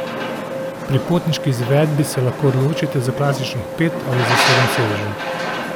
Pri potniški izvedbi se lahko odločite za klasičnih pet ali za sedem sedežev.